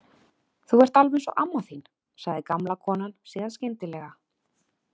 Þú ert alveg eins og amma þín, sagði gamla konan síðan skyndilega.